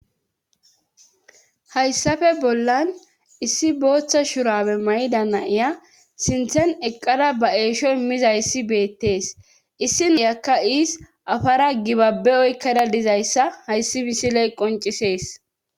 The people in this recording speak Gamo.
hayssafe bollan issi booththa shurabe mayda naiya sinthen eqqada ba eesho immiza issi beettees issiniyakka iis afara gibabe oykkada dizayssa hayssi bisiley qoncisees